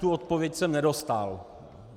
Tu odpověď jsem nedostal.